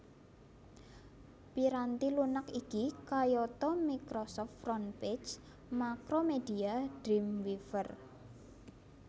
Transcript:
Piranti lunak iki kayata Microsoft Frontpage Macromedia Dreamweaver